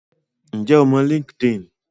Ǹjẹ́ o mọ Linkedin?